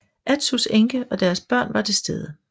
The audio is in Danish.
Atsus enke og deres børn var til stede